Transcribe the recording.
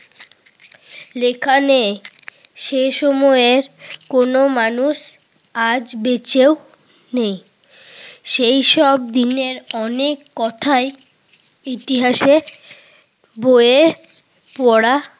লেখা নেই সেই সময়ের কিছু মানুষ আজ বেঁচেও নেই। সেই সব দিনের অনেক কথাই ইতিহাসের বইয়ে পড়া